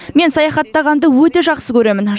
мен саяхаттағанды өте жақсы көремін